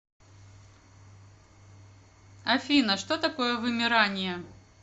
афина что такое вымирание